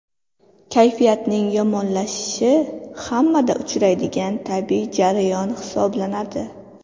Kayfiyatning yomonlashishi hammada uchraydigan tabiiy jarayon hisoblanadi.